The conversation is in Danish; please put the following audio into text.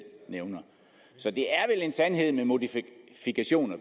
nævner så det er vel en sandhed med modifikationer